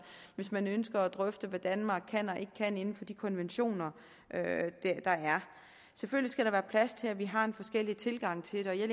hvis man ønsker at drøfte hvad danmark kan og ikke kan inden for de konventioner der er selvfølgelig skal der være plads til at vi har en forskellig tilgang til det og jeg